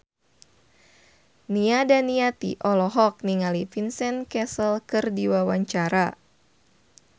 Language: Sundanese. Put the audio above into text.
Nia Daniati olohok ningali Vincent Cassel keur diwawancara